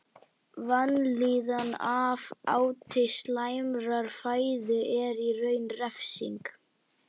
Vanlíðan af áti slæmrar fæðu er í raun refsing.